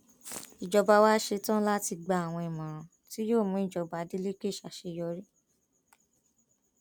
ìjọba wá ṣetán láti gba àwọn ìmọràn tí yóò mú ìjọba adeleke ṣàṣeyọrí